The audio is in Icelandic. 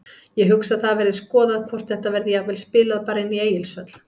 Ég hugsa að það verði skoðað hvort þetta verði jafnvel spilað bara inni í Egilshöll.